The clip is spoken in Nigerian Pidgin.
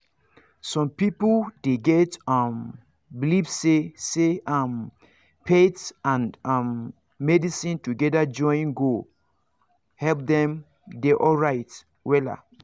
some people dey get um believe say say um faith and um medicine together join go help dem dey alright wella